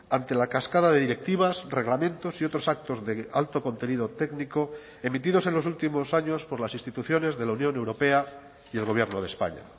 ante la cascada de directivas reglamentos y otros actos de alto contenido técnico emitidos en los últimos años por las instituciones de la unión europea y el gobierno de españa